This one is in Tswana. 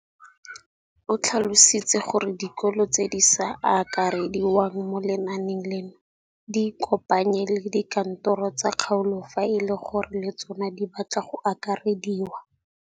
O tlhalositse gore dikolo tse di sa akarediwang mo lenaaneng leno di ikopanye le dikantoro tsa kgaolo fa e le gore le tsona di batla go akarediwa.